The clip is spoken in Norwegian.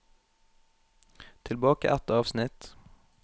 Tilbake ett avsnitt